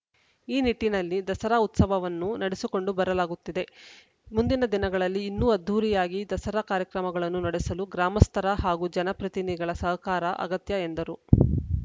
ಈ ನಿಟ್ಟಿನಲ್ಲಿ ದಸರಾ ಉತ್ಸವವನ್ನು ನಡೆಸಿಕೊಂಡು ಬರಲಾಗುತ್ತಿದೆ ಮುಂದಿನ ದಿನಗಳಲ್ಲಿ ಇನ್ನೂ ಅದ್ಧೂರಿಯಾಗಿ ದಸರಾ ಕಾರ್ಯಕ್ರಮಗಳನ್ನು ನಡೆಸಲು ಗ್ರಾಮಸ್ಥರ ಹಾಗೂ ಜನಪ್ರತಿನಿಧಿಗಳ ಸಹಕಾರ ಅಗತ್ಯ ಎಂದರು